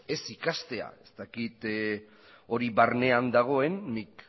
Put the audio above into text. ez ikastea ez dakit hori barnean dagoen nik